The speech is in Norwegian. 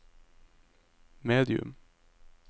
medium